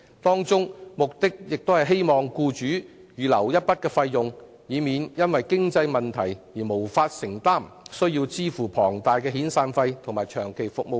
機制旨在為僱主預留一筆費用，以免日後因經營出現問題而無法向員工支付龐大遣散費或長期服務金。